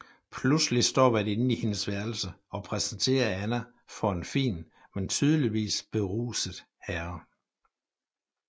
Pludselig står værtinden i hendes værelse og præsenterer Anna for en fin men tydeligvis beruset herre